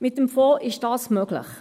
Mit dem Fonds ist dies möglich.